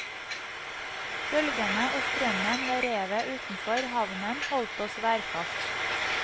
Bølgene og strømmen ved revet utenfor havnen holdt oss værfast.